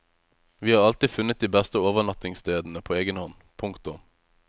Vi har alltid funnet de beste overnattingsstedene på egenhånd. punktum